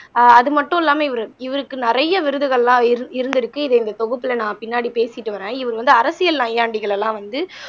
ஆஹ் அது மட்டும் இல்லாம இவரு இவருக்கு நிறைய விருதுகள் எல்லாம் இரு இருந்திருக்கு இதை இந்த தொகுப்புல நான் பின்னாடி பேசிட்டு வரே இவரு வந்து அரசியல் நையாண்டிகளெல்லாம் வந்து